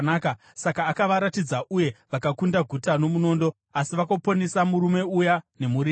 Saka akavaratidza, uye vakakunda guta nomunondo asi vakaponesa murume uya nemhuri yake.